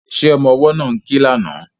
Ṣé ọmọ ọwọ́ náà ń ké lánàá?